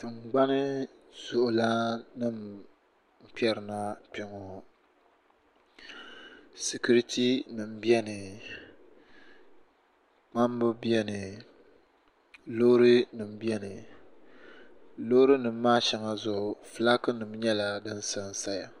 Tingbani zuɣu lana nima n kperina kpeŋɔ sikiriti nima biɛni kpamba biɛni loori nima biɛni loori nima maa sheŋa zuɣu filaaki nima nyɛla din sansaya.